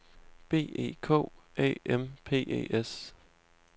B E K Æ M P E S